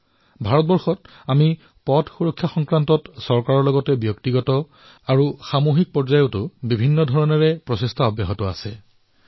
আজি ভাৰতত পথ সুৰক্ষাৰ বাবে চৰকাৰৰ সৈতে ব্যক্তিগত আৰু সামূহিক পৰ্যায়ত বহুধৰণৰ প্ৰয়াস কৰা হৈছে